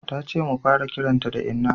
Ta ce mu fara kiranta da inna